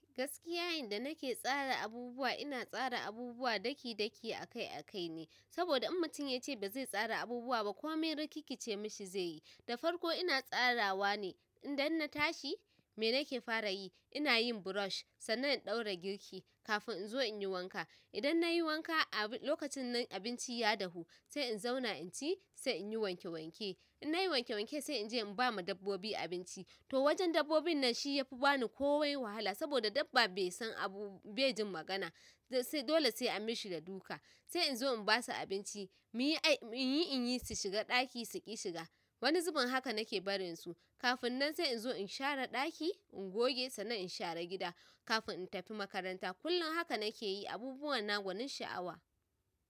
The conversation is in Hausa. Gaskiya yanda nake tsara abubuwa ina tsara abubuwa daki-daki akai akai ne. Saboda in mutum yace ba zai tsara abubuwa ba ko mai rikikkice mishi zai yi, da farko ina tsarawa ne. Idan na tashi, me nake fara yi? Ina yin brush, sannan in ɗaura girki kafin in zo in yi wanka. Idan na yi wanka a lokacin nan abinci ya dahu, sai in zauna in ci sai in yi wanke wanke. In nayi wanke wanke sai in je in ba ma dabbobi abinci. To wajen dabbobin nan shi ya fi bani komai wahala saboda dabba bai san abu bai jin magana. Sai dole sai an mishi da duka sai in zo in ba su abinci, muyi ai in yi in yi su shiga ɗaki suƙi shiga. Wani zubin haka nake barin su. Kafin nan sai in zo in share ɗaki, in goge sannan in share gida kafin in tafi makaranta. Kullum haka nake yi abubuwa na gwanin sha'awa.